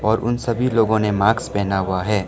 और उन सभी लोगों ने माक्स पहना हुआ है।